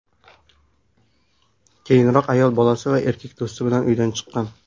Keyinroq ayol bolasi va erkak do‘sti bilan uydan chiqqan.